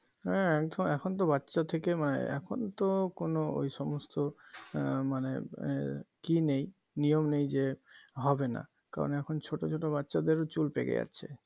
হ্যাঁ এখন তো বাচ্চা থেকে মানে এখন তো কোনো ওই সমস্ত এর মানে এর কি নেই নিয়ম নেই যে হবেনা কারণ এখন ছোট ছোট বাচ্চাদের চুল পেকে যাচ্ছে